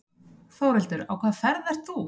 Þórhildur: Á hvaða ferð ert þú?